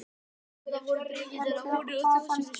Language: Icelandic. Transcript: Norðurlanda voru dregnir að húni og þjóðsöngvar sungnir.